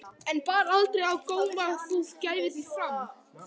En bar aldrei á góma að þú gæfir þig fram?